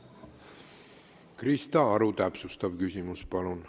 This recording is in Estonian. Krista Aru, täpsustav küsimus, palun!